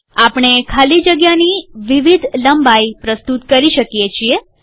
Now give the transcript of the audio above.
આપણે ખાલી જગ્યાની વિવિધ લંબાઇ પ્રસ્તુત કરી શકીએ છીએ